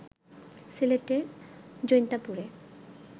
সিলেটের জৈন্তাপুরে